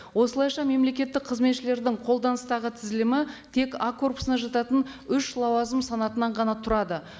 осылайша мемлекеттік қызметшілердің қолданыстағы тізілімі тек а корпусына жататын үш лауазым санатынан ғана тұрады